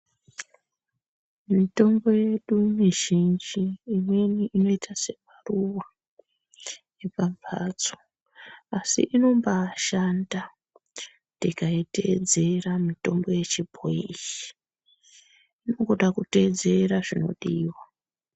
Mitombo yedu mizhinji imweni inoita semaruva epamhatso asi inombashanda tikaitedzera mitombo yechibhoyi iyi inongoda kuteedzerwa zvinodiwa .